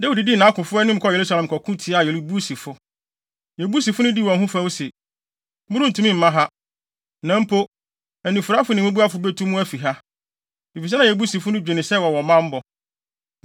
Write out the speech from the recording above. Dawid dii nʼakofo anim kɔɔ Yerusalem kɔko tiaa Yebusifo. Yebusifo no dii wɔn ho fɛw se, “Morentumi mma ha. Na mpo, anifuraefo ne mmubuafo betu mo afi ha.” Efisɛ na Yebusifo no dwene sɛ wɔwɔ bammɔ.